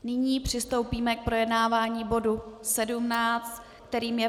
Nyní přistoupíme k projednávání bodu 17, kterým je